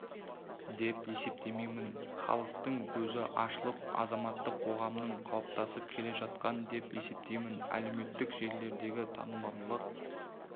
деп есептемеймін халықтың көзі ашылып азаматтық қоғамның қалыптасып келе жатқандығы деп есептеймін әлеуметтік желілердегі танымалдық